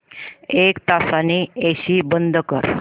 एक तासाने एसी बंद कर